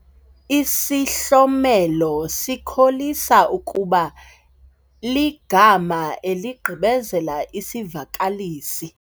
Isihlomelo sikholisa ukuba ligama eligqibezela isivakalisi.